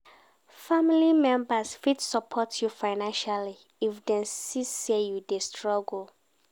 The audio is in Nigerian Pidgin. Family members fit support you financially if dem see say you dey struggle